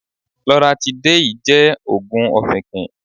Lọratidéìì jẹ́ òògùn ọfìnkìn.